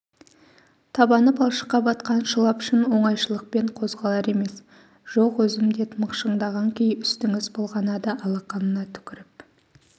табаны балшыққа батқан шылапшын оңайшылықпен қозғалар емес жоқ өзім дед мықшыңдаған күй үстңз былғанады алақанына түкрп